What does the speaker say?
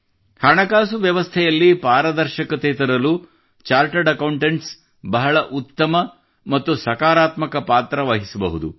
ಹಣಕಾಸು ವ್ಯವಸ್ಥೆಯಲ್ಲಿ ಪಾರದರ್ಶಕತೆ ತರಲು ಚಾರ್ಟರ್ಡ್ ಅಕೌಂಟೆಂಟ್ಸ್ ಬಹಳ ಉತ್ತಮ ಮತ್ತು ಸಕಾರಾತ್ಮಕ ಪಾತ್ರ ವಹಿಸಬಹುದು